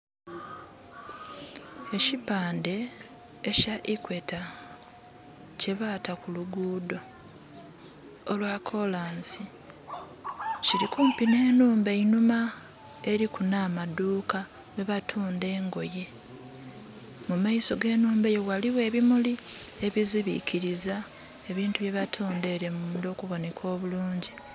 Ekipaande ekya Equator kye baata ku luguudo olwa kolansi kiri kumpi n'enhumba einhuma eriku n'amaduuka mwebatunda engoye. Mumaiso g'enhumba eyo ghaligho ebimuli ebizibikiliza ebintu bye batunda ere munda okuboneka obulungi.